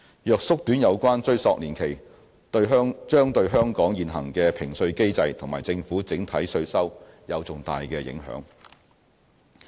若縮短有關追溯年期，將對香港現行的評稅機制和政府整體稅收有重大影響。